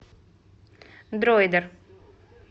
дроидер